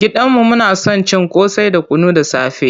Gidan mu muna son cin ƙosai da kunu da safe.